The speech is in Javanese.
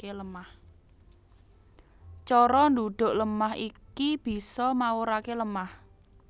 Cara ndhudhuk lemah iki bisa mawuraké lemah